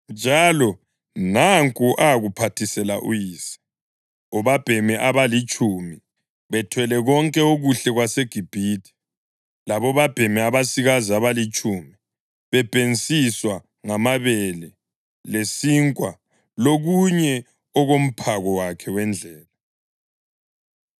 Njalo nanku akuphathisela uyise: obabhemi abalitshumi bethwele konke okuhle kwaseGibhithe, labobabhemi abasikazi abalitshumi bebhensiswa ngamabele lesinkwa lokunye okomphako wakhe wendlela.